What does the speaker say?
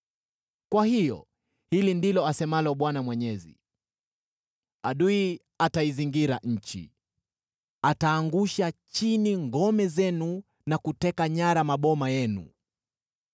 Kwa hiyo hili ndilo asemalo Bwana Mwenyezi: “Adui ataizingira nchi; ataangusha chini ngome zenu na kuteka nyara maboma yenu.”